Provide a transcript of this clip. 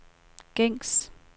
gængs